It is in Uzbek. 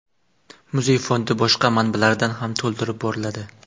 Muzey fondi boshqa manbalardan ham to‘ldirib boriladi.